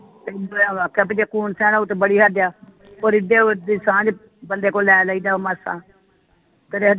ਤੈਨੂੰ ਤੇ ਆਖਿਆ ਬਈ ਜੇ ਉਹ ਤੇ ਬੜੀ ਹੱਦ ਆ ਉਹ ਰਿਦਿਆ ਬਦੀ ਸਾਂਝ ਬੰਦੇ ਕੋਲ ਲੈ ਲਈਦਾ ਮਾਸਾ